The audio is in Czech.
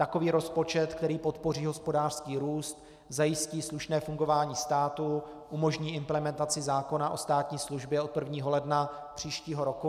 Takový rozpočet, který podpoří hospodářský růst, zajistí slušné fungování státu, umožní implementaci zákona o státní službě od 1. ledna příštího roku.